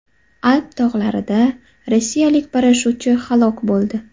Alp tog‘larida rossiyalik parashyutchi halok bo‘ldi.